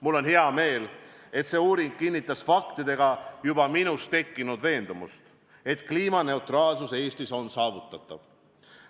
Mul on hea meel, et see uuring faktidega kinnitas minus juba tekkinud veendumust, et kliimaneutraalsus Eestis on saavutatav.